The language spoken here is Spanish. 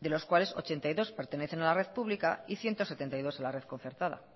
de los cuales ochenta y dos pertenecen a la red pública y ciento setenta y dos a la red concertada